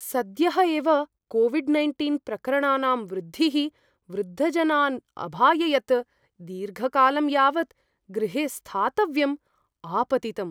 सद्यः एव COVID nineteen प्रकरणानां वृद्धिः वृद्धजनान् अभाययत्, दीर्घकालं यावत् गृहे स्थातव्यम् आपतितम्।